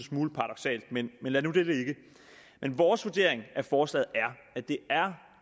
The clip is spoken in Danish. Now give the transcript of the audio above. smule paradoksalt men lad nu det ligge vores vurdering af forslaget er at det